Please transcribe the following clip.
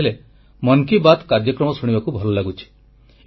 ସେ ଲେଖିଥିଲେ ମନ କି ବାତ କାର୍ଯ୍ୟକ୍ରମ ଶୁଣିବାକୁ ଭଲ ଲାଗୁଛି